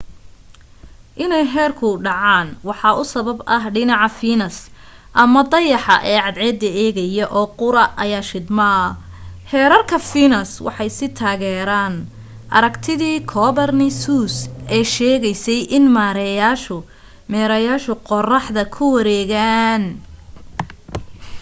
inay heerku dhacaan waxa u sabab ah dhinaca fiinas ama dayaxa ee cadceeda eegaya oo qura ayaa shidma. heerarka fiinas waxay sii taageereen aragtidii copernicus ee sheegaysay in meerayaashu qoraxda ku wareegaan